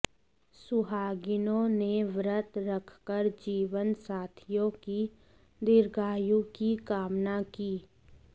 सुहागिनों ने व्रत रखकर जीवन साथियों की दीर्घायु की कामना की